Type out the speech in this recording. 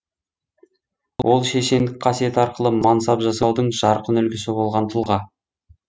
ол шешендік қасиет арқылы мансап жасаудың жарқын үлгісі болған тұлға